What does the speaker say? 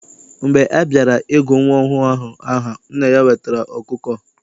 Mgbe a bịara I gụ nwa ọhụụ ahụ aha, nna ya wetara ọkụkọ.